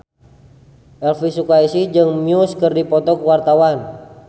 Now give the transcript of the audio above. Elvy Sukaesih jeung Muse keur dipoto ku wartawan